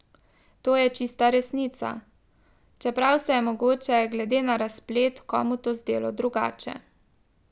To je čista resnica, čeprav se je mogoče glede na razplet komu to zdelo drugače.